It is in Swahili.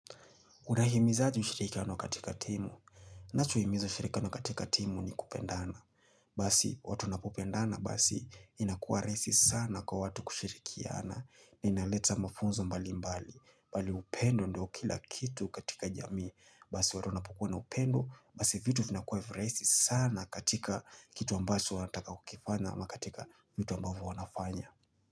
Unahimizaji mshirikano katika timu. Nacho himiza mshirikano katika timu ni kupendana. Basi watu wanapopendana basi inakuwa raisi sana kwa watu kushirikiana. Ni inaleta mafunzo mbali mbali. Bali upendo ndio kila kitu katika jamii. Basi watu napokuwa na upendo. Basi vitu vina kwa urahisi sana katika kitu ambacho wantaka kukifanya ama katika vitu ambavu wanafanya.